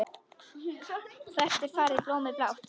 Hvert var farið blómið blátt?